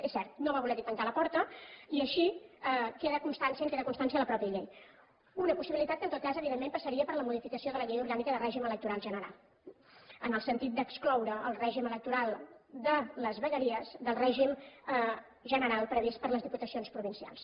és cert no va voler hi tancar la porta i així en queda constància en queda constància a la mateixa llei una possibilitat que en tot cas evidentment passaria per la modificació de la llei orgànica de règim electoral general en el sentit d’excloure el règim electoral de les vegueries del règim general previst per a les diputacions provincials